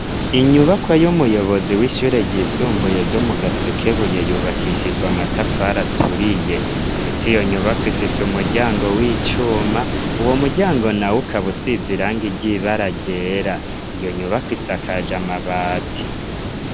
Inyubakwa y'umuyobozi w'ishure ryisumbuye ryo mu Gasekebuye yubakishijwe amatafari aturiye. Ndetse iyo nyubako ifise umuryango w'icuma. Uwo muryango nawo ukaba usize irangi ry'ibara ryera, iyo nyubakwa isakaje amabati.